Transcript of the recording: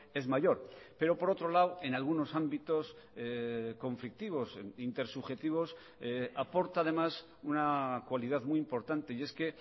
es mayor pero por otro lado en algunos ámbitos conflictivos intersubjetivos aporta además una cualidad muy importante y es que